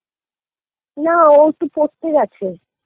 না ও তো পড়তে গেছে